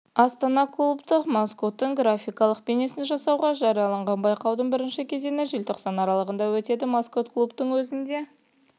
астана клубтық маскоттың графикалық бейнесін жасауға жариялаған байқаудің бірінші кезеңі желтоқсан аралығында өтеді маскот клубтың өзіне